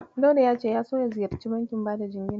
Dauda ya so ya ziyarci bankin bada jingina.